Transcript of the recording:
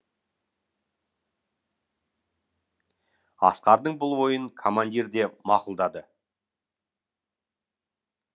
асқардың бұл ойын командир де мақұлдады